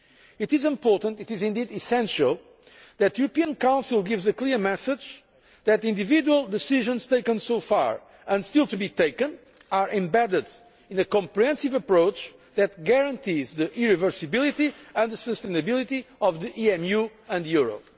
It is important it is, indeed, essential that the European Council gives a clear message that the individual decisions taken so far and still to be taken are embedded in a comprehensive approach that guarantees the irreversibility and the sustainability of the EMU and the euro.